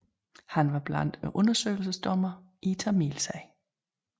Han var blandt undersøgelsesdommerne i Tamilsagen